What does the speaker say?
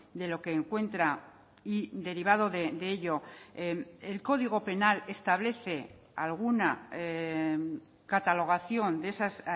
de lo que encuentra y derivado de ello el código penal establece alguna catalogación de esas